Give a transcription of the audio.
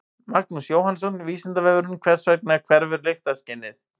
Magnús Jóhannsson: Vísindavefurinn: Hvers vegna hverfur lyktarskynið?